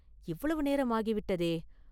இவ்வளவு நேரம் ஆகி விட்டதே!